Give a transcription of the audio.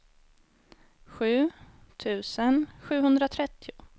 sju tusen sjuhundratrettio